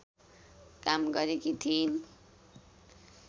काम गरेकी थिइन्